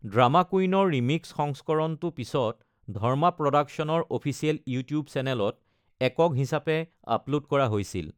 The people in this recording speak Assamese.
ড্ৰামা কুইনৰ ৰিমিক্স সংস্কৰণটো পিছত ধৰ্মা প্ৰডাকশ্যনৰ অফিচিয়েল ইউটিউব চেনেলত একক হিচাপে আপলোড কৰা হৈছিল।